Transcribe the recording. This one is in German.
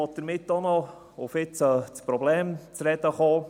Um nun auf das Problem zu sprechen zu kommen: